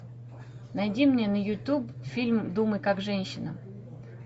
найди мне на ютуб фильм думай как женщина